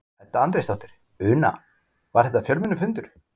Edda Andrésdóttir: Una, var þetta fjölmennur fundur?